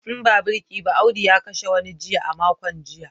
In ba birki ba Audu ya kashe wani jiki a makon jiya